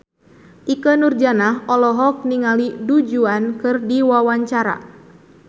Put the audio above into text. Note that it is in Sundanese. Ikke Nurjanah olohok ningali Du Juan keur diwawancara